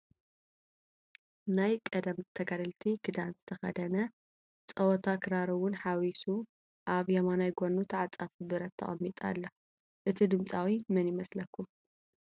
ናይ ቀደም ናይ ተጋደልቲ ክዳን ዝተኸደነ፣ ፀወታ ክራር ውን ሓዊሱ ኣብ የማናይ ጎኑ ተዓፃፊ ብረት ተቐሚጣ ኣላ፡፡ እቲ ድምፃዊ መን ይመስለኩም?